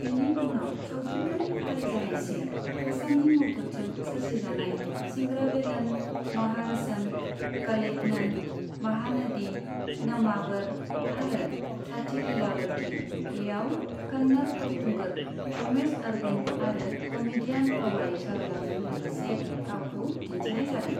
बिनि उनाव सावथुनफोरनि फारि जानायसै, हासाननि मददजों सोरजिजानाय सिंगरावेलन, महारसन, कलैग्नन, महानदी, नम्मावर आरो साथी लीलावती, बेयाव कन्नड़ फावखुंगुर रमेश अरविन्द आरो कमेडियान क'वाई सरालाजों लोगोसे गावखौ दिन्थिनाय जादों।